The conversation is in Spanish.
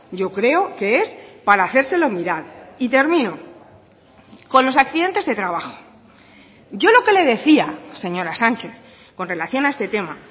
yo creo que es para hacérselo mirar y termino con los accidentes de trabajo yo lo que le decía señora sánchez con relación a este tema